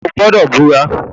O gbọdọ bura!